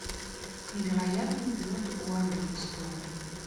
невероятный берт уандерстоун